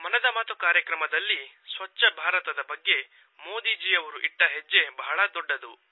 ಮನದ ಮಾತು ಕಾರ್ಯಕ್ರಮದಲ್ಲಿ ಸ್ವಚ್ಚ ಭಾರತದ ಬಗ್ಗೆ ಮೋದಿಜಿಯವರು ಇಟ್ಟ ಹೆಜ್ಜೆ ಬಹಳ ದೊಡ್ಡದು